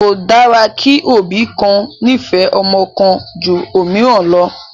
Kò dára kí òbí kan nífẹ̀ẹ́ ọmọ kan ju òmíràn lọ